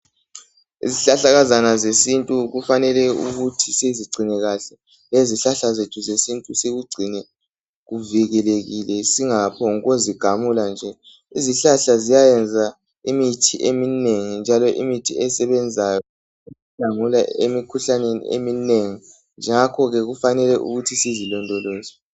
Izihlahlakazana zesintu kufanele ukuthi sizingcine kahle lezihlahla zethu zesintu sikingcine kuvikelekile singaphoku gamula nje . Izihlahla ziyayenza imithi eminengi njalo imithi esebenzayo ukukhangela imikhuhlane eminengi ngakho ke kufanele sizilondoloze.